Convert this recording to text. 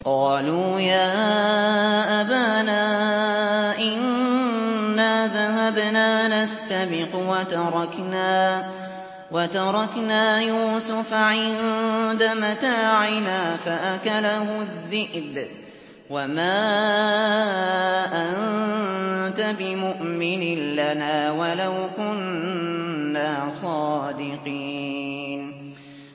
قَالُوا يَا أَبَانَا إِنَّا ذَهَبْنَا نَسْتَبِقُ وَتَرَكْنَا يُوسُفَ عِندَ مَتَاعِنَا فَأَكَلَهُ الذِّئْبُ ۖ وَمَا أَنتَ بِمُؤْمِنٍ لَّنَا وَلَوْ كُنَّا صَادِقِينَ